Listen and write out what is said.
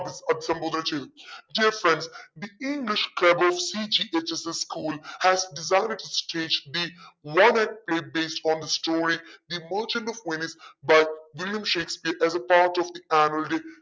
അഭി അഭിസംബോധന ചെയ്തു dear friends the english club ofcghssschool has decided to stage the based on the story merchant of venice by William Shakespeare as a part of the annual day